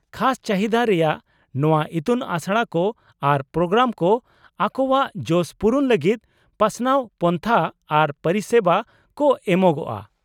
-ᱠᱷᱟᱥ ᱪᱟᱹᱦᱤᱫᱟ ᱨᱮᱭᱟᱜ ᱱᱚᱶᱟ ᱤᱛᱩᱱ ᱟᱥᱲᱟ ᱠᱚ ᱟᱨ ᱯᱨᱳᱜᱨᱟᱢ ᱠᱚ ᱟᱠᱚᱣᱟᱜ ᱡᱚᱥ ᱯᱩᱨᱩᱱ ᱞᱟᱹᱜᱤᱫ ᱯᱟᱥᱱᱟᱣ ᱯᱚᱱᱛᱷᱟ ᱟᱨ ᱯᱚᱨᱤᱥᱮᱵᱟ ᱠᱚ ᱮᱢᱚᱜᱼᱟ ᱾